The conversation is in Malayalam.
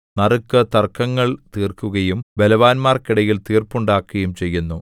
നറുക്ക് തർക്കങ്ങൾ തീർക്കുകയും ബലവാന്മാർക്കിടയിൽ തീർപ്പുണ്ടാക്കുകയും ചെയ്യുന്നു